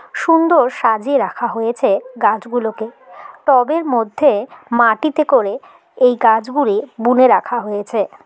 সুন্দর সাজিয়ে রাখা হয়েছে গাছগুলোকে টবের মধ্যে মাটিতে করে এই গাছগুলি বুনে রাখা হয়েছে।